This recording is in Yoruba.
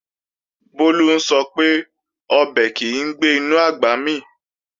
Bólú ń sọ pé, ọbẹ̀ kìí gbé inú àgbà mì